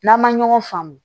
N'an ma ɲɔgɔn faamu